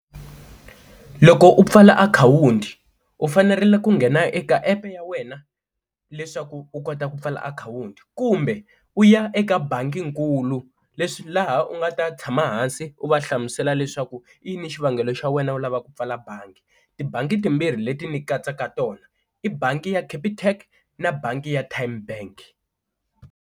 Loko u pfala akhawunti u fanerile ku nghena eka app ya wena leswaku u kota ku pfala akhawunti kumbe u ya eka bangi nkulu leswi laha u nga ta tshama hansi u va hlamusela leswaku i yini xivangelo xa wena u lavaku ku pfala bangi, tibangi timbirhi leti ni katsaka tona i bangi ya Capitec na bangi ya Tymebank.